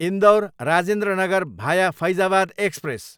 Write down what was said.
इन्दौर, राजेन्द्र नगर भाया फैजाबाद एक्सप्रेस